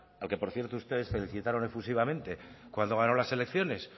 al que por cierto ustedes felicitaron efusivamente cuando ganó las elecciones